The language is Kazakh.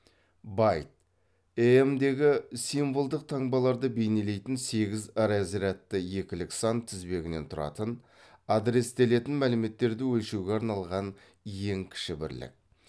байт эем дегі символдық таңбаларды бейнелейтін сегіз разрядты екілік сан тізбегінен тұратын адрестелетін мәліметтерді өлшеуге арналған ең кіші бірлік